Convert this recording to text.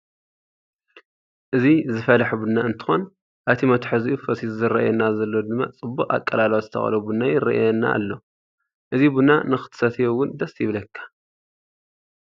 እዚ ዝፈላሐ ቡና እንትኮን ኣብ እቲ መትሓዝኡ ፈሲሱ ዝረአየና ዘሎ ድማ ፅቡቅ ኣቀላልዋ ዝተቆለወ ቡና ይረአየና ኣሎ። እዚ ቡና ንክትሰትዮ እውን ደስ ይብለካ።